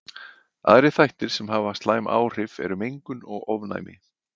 Aðrir þættir sem hafa slæm áhrif eru mengun og ofnæmi.